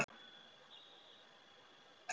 Þetta er mjög alvarleg staða.